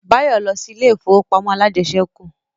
Báyọ̀ lọ sí ilé ìfowópamọ́ alájẹsẹ́kù